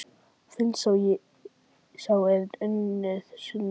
Finnst sá er unnir sinni kvöl?